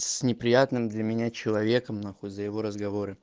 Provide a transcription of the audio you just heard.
с неприятным для меня человеком на хуй за его разговоры